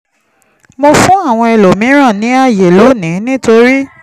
mo fún àwọn ẹlòmíràn ní àyè lónìí nítorí